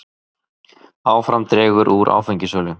Áfram dregur úr áfengissölu